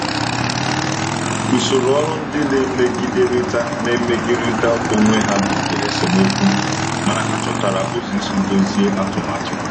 Usoro ọrụ ndị na-emegiderịta na-emegiderịta onwe ha butere esemokwu, mana ha chọtara ụzọ isi dọzie atụmatụ.